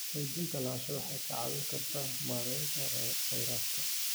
Xaqiijinta lahaanshaha waxay kaa caawin kartaa maareynta kheyraadka.